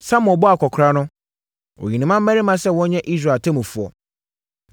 Samuel bɔɔ akɔkoraa no, ɔyii ne mmammarima sɛ wɔnyɛ Israel atemmufoɔ.